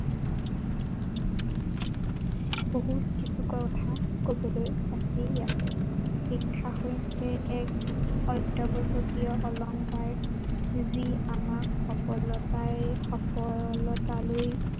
বহুত কিছু কথা কবলৈ আছিল আছে শিক্ষা হৈছে এক অত্য়াৱশ্য়কীয় অলংকাৰ যি আমাক সফলতাই সফলতালৈ